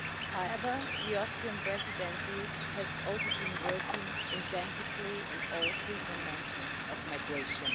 However, the Austrian Presidency has also been working intensively on all three dimensions of migration.